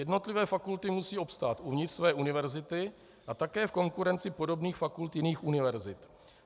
Jednotlivé fakulty musí obstát uvnitř své univerzity a také v konkurenci podobných fakult jiných univerzit.